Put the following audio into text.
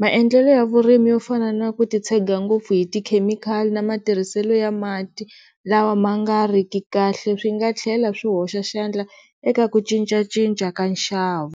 Maendlelo ya vurimi yo fana na ku ti tshega ngopfu hi ti-chemical na matirhiselo ya mati lawa ma nga ri ki kahle swi nga tlhela swi hoxa xandla eka ku cincacinca ka nxavo.